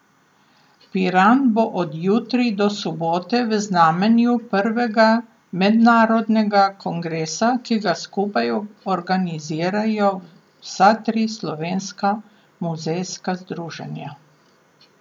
Piran bo od jutri do sobote v znamenju prvega mednarodnega kongresa, ki ga skupaj organizirajo vsa tri slovenska muzejska združenja.